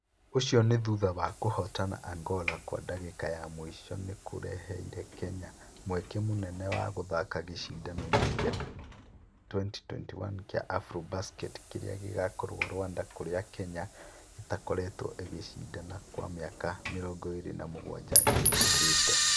ũcio nĩ thutha wa kũhootana Angola kwa ndagĩka ya mũico nĩ kũraheere Kenya mweke mũnene wa gũthaka gĩcindano-inĩ kĩa 2021 kĩa Afrobasket kĩrĩa gĩkakorwo Rwanda kũrĩa Kenya ĩtakoretwo ĩkĩcindana kwa mĩaka 27 ihĩtũkĩte.